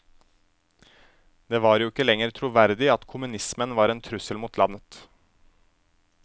Det var jo ikke lenger troverdig at kommunismen var en trussel mot landet.